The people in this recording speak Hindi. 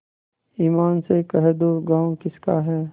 ईमान से कह दो गॉँव किसका है